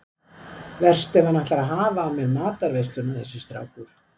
Verst ef hann ætlar að hafa af mér matarveisluna þessi strákur.